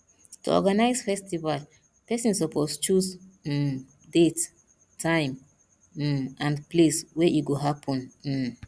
to organize festival persin suppose choose um date time um and place wey e go happen um